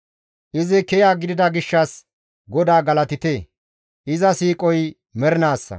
Izi kiya gidida gishshas GODAA galatite! Iza siiqoy mernaassa.